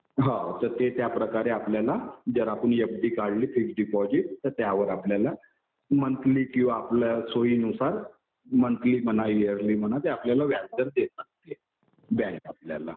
हो तर ते त्या प्रकारे आपल्याला जर आपण एफ डी काढली, फिक्स डिपॉजिट तर त्यावर आपल्याला मंथली किंवा आपल्या सोयीनुसार मंथली म्हणा इयरलि म्हणा ते आपल्याला व्याजदर देतात बँक आपल्याला.